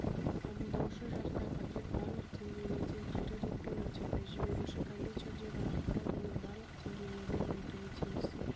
қабылдаушы жақта пакет барлық деңгейлерден кері ретпен өтеді жіберуші компьютердегі ақпарат оның барлық деңгейлерінен өтуі тиіс